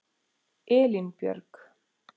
Elínbjörg